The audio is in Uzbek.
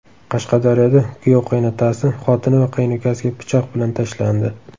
Qashqadaryoda kuyov qaynotasi, xotini va qaynukasiga pichoq bilan tashlandi.